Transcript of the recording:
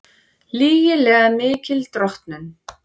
Lygilega mikil drottnun